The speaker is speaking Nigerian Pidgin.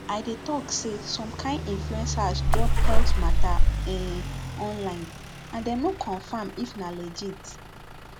i dey talk say some kain influencers drop health matter um online and dem no confirm if na legit